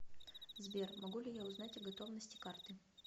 сбер могу ли я узнать о готовности карты